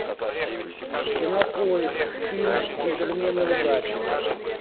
кинопоиск фильм джентльмены удачи